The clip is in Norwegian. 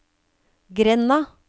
grenda